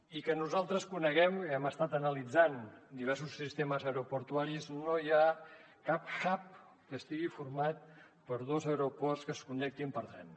i que nosaltres coneguem i hem estat analitzant diversos sistemes aeroportuaris no hi ha cap hub que estigui format per dos aeroports que es connectin per tren